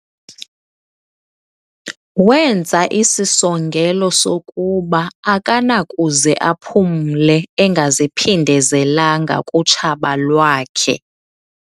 Wenza isisongelo sokuba akanakuze aphumle engaziphindezelanga kutshaba lwakhe.